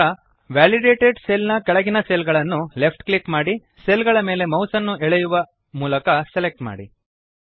ನಂತರ validated cell ನ ಕೆಳಗಿನ ಸೆಲ್ ಗಳನ್ನು ಲೆಫ್ಟ್ ಕ್ಲಿಕ್ ಮಾಡಿ ಸೆಲ್ ಗಳ ಮೇಲೆ ಮೌಸ್ ಅನ್ನು ಎಳೆಯುವ ಡ್ರ್ಯಾಗ್ ಮೂಲಕ ಸೆಲೆಕ್ಟ್ ಮಾಡಿ